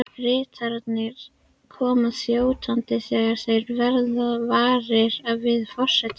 Ritararnir koma þjótandi þegar þeir verða varir við forsetann.